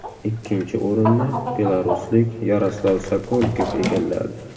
Ikkinchi o‘rinni belaruslik Yaroslav Sokolikov egalladi.